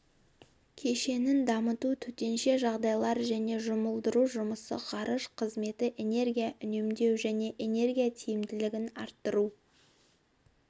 кешенін дамыту төтенше жағдайлар және жұмылдыру жұмысы ғарыш қызметі энергия үнемдеу және энергия тиімділігін арттыру